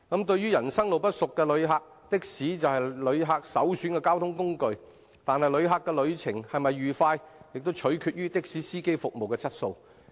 對於人生路不熟的旅客，的士是他們首選的交通工具，但旅程是否愉快便取決於的士司機的服務質素。